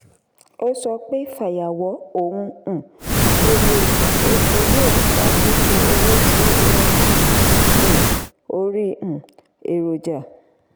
ó sọ pé fàyàwọ́ ohun um èlò epo yóò fa fífi owó sí um orí um èròjà.